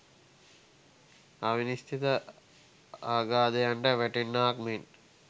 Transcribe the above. අවිනිශ්චිත අගාධයන්ට වැටෙන්නාක් මෙන්